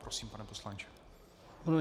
Prosím, pane poslanče.